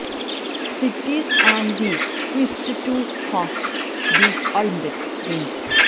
സിറ്റിസ് and the quest to host the Olympics games